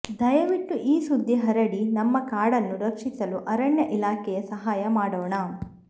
ದಯವಿಟ್ಟು ಈ ಸುದ್ದಿ ಹರಡಿ ನಮ್ಮ ಕಾಡನ್ನು ರಕ್ಷಿಸಲು ಅರಣ್ಯ ಇಲಾಖೆಯ ಸಹಾಯ ಮಾಡೋಣ